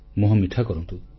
ମୁହଁ ମିଠା କରନ୍ତୁ